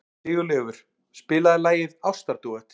Sigurleifur, spilaðu lagið „Ástardúett“.